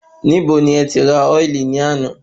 Ibo ni ẹti rà ọ́ìlì ní àná?